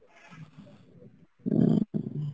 হম